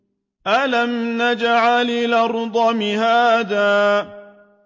أَلَمْ نَجْعَلِ الْأَرْضَ مِهَادًا